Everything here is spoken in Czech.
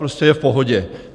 Prostě je v pohodě.